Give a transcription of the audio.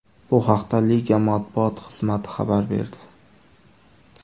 Bu haqda liga matbuot xizmati xabar berdi .